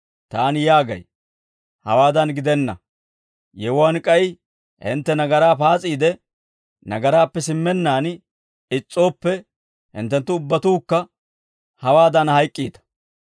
Taani yaagay, hawaadan gidenna; yewuwaan k'ay hintte nagaraa paas'iide nagaraappe simmennaan is's'ooppe, hinttenttu ubbatuukka hewaadan hayk'k'iita.